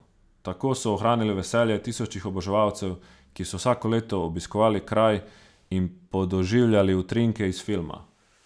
Tako so ohranili veselje tisočih oboževalcev, ki so vsako leto obiskovali kraj in podoživljali utrinke iz filma.